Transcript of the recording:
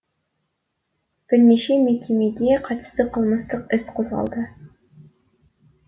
бірнеше мекемеге қатысты қылмыстық іс қозғалды